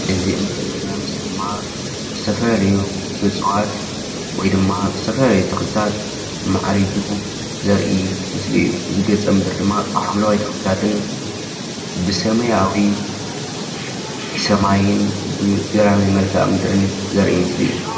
እዚ እንሪኦ ዘለና ምስሊ ድማ ዝተፈላላዩ እፅዋት ወይ ድማ ዝተፈላለዩ ተክሊታት ማዕሪጉ ዘርኢ ምስሊ እዩ። እዚ ገፀ ምድሪ ድማ ብሓምለዋይ ተክሊታትን ብሰማያዊ ሰማይን ገራሚ መልከዓ ምድሪ ዘርኢ ምስሊ እዩ።